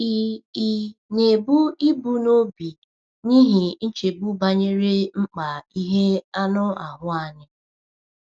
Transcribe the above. Ị̀ Ị̀ na-ebu ibu n’obi n’ihi nchegbu banyere mkpa ihe anụ ahụ anyị?